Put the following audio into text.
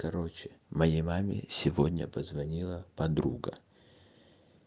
короче моей маме сегодня позвонила подруга